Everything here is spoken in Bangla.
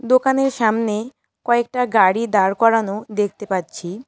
দোকানের সামনে কয়েকটা গাড়ি দাঁড় করানো দেখতে পাচ্ছি।